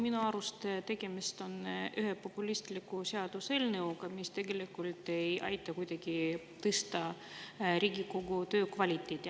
No minu arust tegemist on ühe populistliku seaduseelnõuga, mis tegelikult ei aita kuidagi tõsta Riigikogu töö kvaliteeti.